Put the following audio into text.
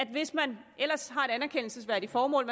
hvis man ellers har et anerkendelsesværdigt formål